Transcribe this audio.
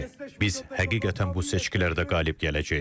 Bəli, biz həqiqətən bu seçkilərdə qalib gələcəyik.